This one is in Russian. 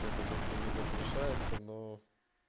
это как бы не запрещается но